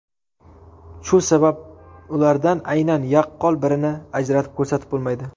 Shu sabab ulardan aynan yaqqol birini ajratib ko‘rsatib bo‘lmaydi.